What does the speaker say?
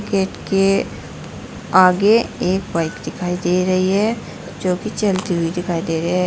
Gate के आगे एक बाइक दिखाई दे रही है जोकि चलती हुई दिखाई दे रहे है।